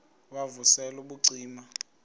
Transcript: wav usel ubucima